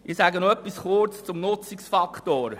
Ich sage noch kurz etwas zum Nutzungsfaktor.